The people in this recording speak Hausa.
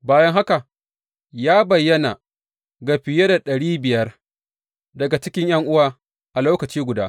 Bayan haka, ya bayyana ga fiye da ɗari biyar daga cikin ’yan’uwa a lokaci guda.